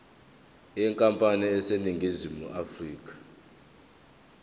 yenkampani eseningizimu afrika